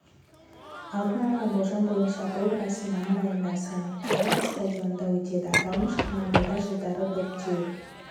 алдын ала болжам бойынша бұл рәсім мамыр айында сан-паоло стадионында өтеді аталмыш командада жылдары доп теуіп